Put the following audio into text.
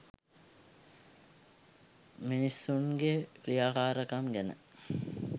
මිනිසුන්ගේ ක්‍රියාකාරකම් ගැන